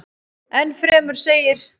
Enn fremur segir